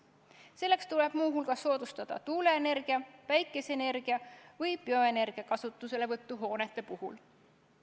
Selleks tuleb muu hulgas soodustada tuule-, päikese- või bioenergia kasutuselevõttu hoonete puhul.